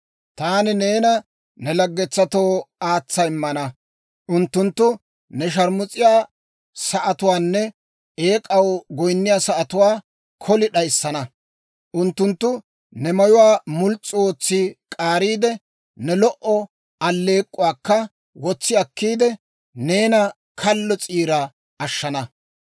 Taani neena ne laggetsatoo aatsa immana; unttunttu ne sharmus'iyaa sa'atuwaanne eek'aw goyinniyaa sa'atuwaa koli d'ayissana. Unttunttu ne mayuwaa muls's'u ootsi k'aariide, ne lo"o alleek'k'uwaakka wotsi akkiide, neena kallo s'iira ashshana.